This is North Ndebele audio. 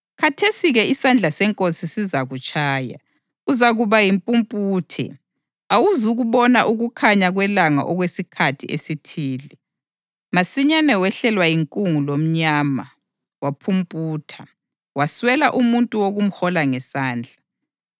Khathesi-ke, isandla seNkosi sizakutshaya. Uzakuba yimpumputhe, awuzukubona ukukhanya kwelanga okwesikhathi esithile.” Masinyane wehlelwa yinkungu lomnyama, waphumputha, waswela umuntu wokumhola ngesandla.